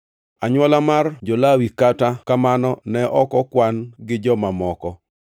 Anywola mar jo-Lawi, kata kamano, ne ok okwan gi joma moko.